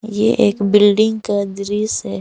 ये एक बिल्डिंग का दृश्य है।